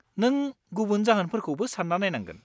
-नों गुबुन जाहोनफोरखौबो सान्ना नायनांगोन।